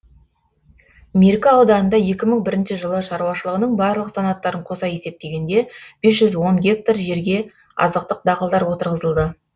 меркі ауданында екі мың бірінші жылы шаруашылығының барлық санаттарын қоса есептегенде бес жүз он гектар жерге азықтық дақылдар отырғызылды